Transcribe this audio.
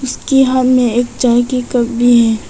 के हाथ में एक चाय की कप भी है।